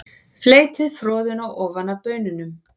Fleytið froðuna ofan af baununum.